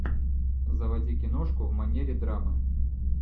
заводи киношку в манере драмы